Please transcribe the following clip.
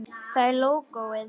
Það er lógóið.